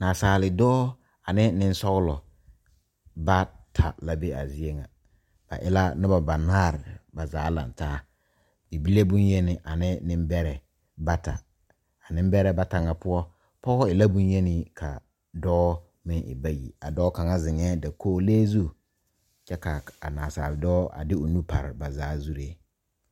Nasaaldɔɔ ane nensɔglɔ bata la be a zie ŋa BC e la noba banaare ba zaa laŋ taa bibile bonyeni ane nembɛrɛ bata a nembɛrɛ bata ŋa poɔ pɔge e la bonyeni ka dɔɔ meŋ e bayi a dɔɔ kaŋa zeŋɛɛ dakogilee zu kyɛ k,a nasaaldɔɔ x de o nu pare ba zaa zuree.